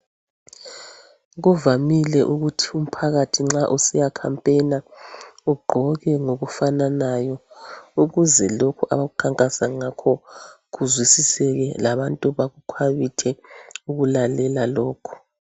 Kuvamile ukuthi umphakathi nxa usiya khampena ugqoke ngokufananayo ukuze lokhu abakukhankasa ngakho kuzwisiseke labantu bakhwabithe ukulalela lokho.